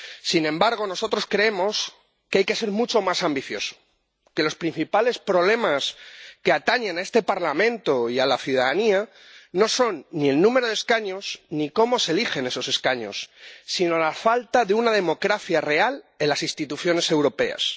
Sin embargo, nosotros creemos que hay que ser mucho más ambiciosos, que los principales problemas que atañen a este Parlamento y a la ciudadanía no son ni el número de escaños ni cómo se eligen esos escaños, sino la falta de una democracia real en las instituciones europeas.